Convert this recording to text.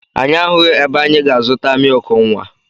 Anyị ahụghị ebe anyị ga-zụtara mịịkụ nwa.